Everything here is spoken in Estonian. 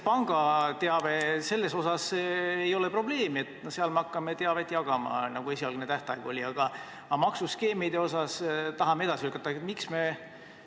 Pangateabega ei ole probleemi, seal me hakkame teavet jagama, nagu esialgne tähtaeg oli, aga maksuskeemide puhul tahame tähtaega edasi lükata.